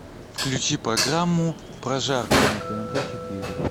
включи программу прожарка на тнт четыре